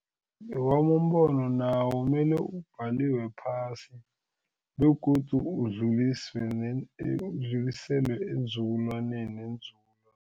Newami umbono nawo mele ubhaliwe phasi begodu udluliswe udluliselwe eenzukulwaneni